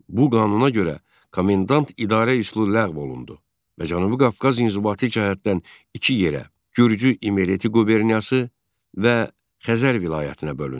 Bu qanuna görə komendant idarə üsulu ləğv olundu və Cənubi Qafqaz inzibati cəhətdən iki yerə: Gürcü-İmereti quberniyası və Xəzər vilayətinə bölündü.